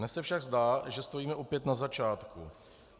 Dnes se však zdá, že stojíme opět na začátku.